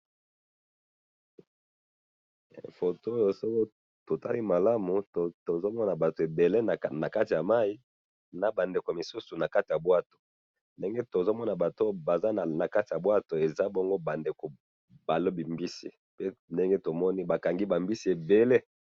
foto oyo soki totali malamu tozomona batu ebele nakati yamayi naba ndeko mosusu nakatiya ya bwato ndenge tozomona ba ndeko na kati ya bwato eza bongo ba ndeko balobi mbisi awa baza lokola eza lokola bakangi ba mbisi ebele